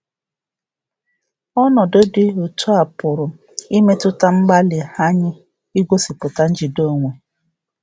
Ọnọdụ dị um etu a pụrụ um imetụta mgbalị um anyị igosipụta njide onwe.